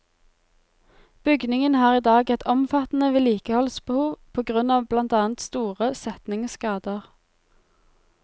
Bygningen har i dag et omfattende vedlikeholdsbehov på grunn av blant annet store setningsskader.